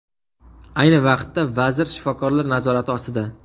Ayni vaqtda vazir shifokorlar nazorati ostida.